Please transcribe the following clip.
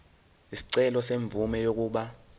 isicelo semvume yokuba